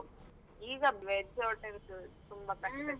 ಈಗ veg hotels ತುಂಬಾ ಕಡಿಮೆ ಸಿಗುದು.